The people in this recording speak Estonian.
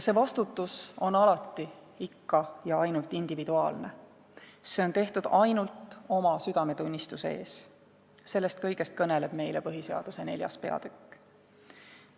See vastutus on alati ikka ja ainult individuaalne, see on tehtud ainult oma südametunnistuse ees – sellest kõigest kõneleb meile põhiseaduse IV peatükk.